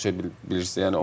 Yəni çox şey bilirsən.